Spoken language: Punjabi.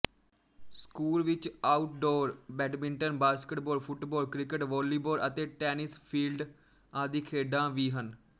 ਸਕੂਲ ਵਿੱਚ outdoor badminton basketball football cricket volleyball ਅਤੇ ਟੈਨਿਸ ਫੀਲਡ ਆਦਿ ਖੇਡਾਂ ਵੀ ਹਨ